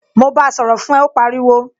Mo báa sọ̀rọ̀ fún ẹ, ó pariwo